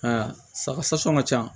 Aa saga sasɔ ka ca